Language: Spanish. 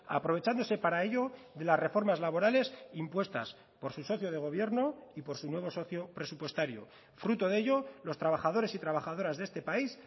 aprovechándose para ello de las reformas laborales impuestas por su socio de gobierno y por su nuevo socio presupuestario fruto de ello los trabajadores y trabajadoras de este país